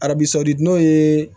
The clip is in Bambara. Arabi sɔsɔli n'o ye